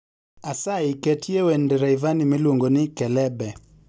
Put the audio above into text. Asayi ketye wend Rayvanny miluongoni kelebe